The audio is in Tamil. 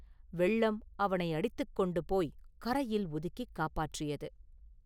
வெள்ளம் அவனை அடித்துக் கொண்டு போய்க் கரையில் ஒதுக்கிக் காப்பாற்றியது!